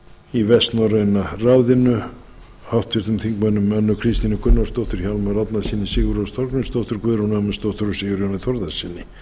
í vestnorræna ráðinu háttvirtur þingmaður önnu kristínu gunnarsdóttur hjálmari árnasyni sigurrósu þorgrímsdóttur guðrúnu ögmundsdóttur sigurjóni þórðarsyni